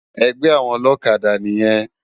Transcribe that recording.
Ègbè áwòn òlòkádà niyèn